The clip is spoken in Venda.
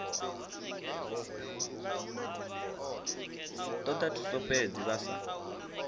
toda thuso fhedzi vha sa